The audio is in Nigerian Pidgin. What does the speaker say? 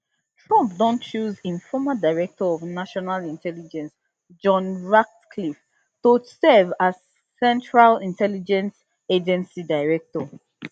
trump don choose im former director of national intelligence john ratcliffe to serve as central intelligence agency director